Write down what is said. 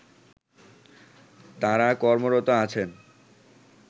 তারা কর্মরত আছেন